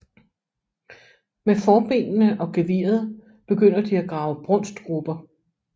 Med forbenene og geviret begynder de at grave brunstgruber